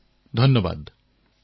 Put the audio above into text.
শৈলজাঃ মোৰ সৈতে সৌম্যা আছে